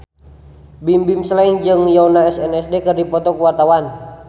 Bimbim Slank jeung Yoona SNSD keur dipoto ku wartawan